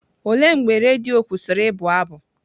Olee mgbe redio kwụsịrị ịbụ abụ?